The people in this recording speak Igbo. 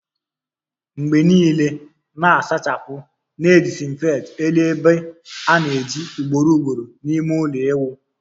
Mgbe niile na-asachapu na disinfect elu ebe a ana-eji ugboro ugboro n'ime ulo iwu